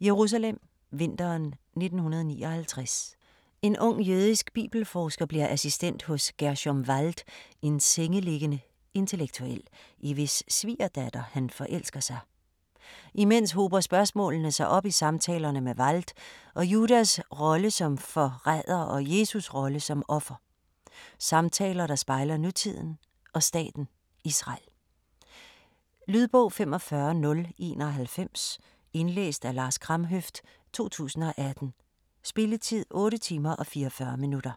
Jerusalem, vinteren 1959. En ung jødisk bibelforsker bliver assistent hos Gerschom Wald, en sengeliggende intellektuel, i hvis svigerdatter han forelsker sig. Imens hober spørgsmålene sig op i samtalerne med Wald, om Judas rolle som forræder og Jesus rolle som offer. Samtaler der spejler nutiden og staten Israel. Lydbog 45091 Indlæst af Lars Kramhøft, 2018. Spilletid: 8 timer, 44 minutter.